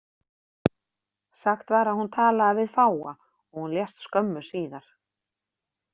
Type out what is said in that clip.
Sagt var að hún talaði við fáa og hún lést skömmu síðar.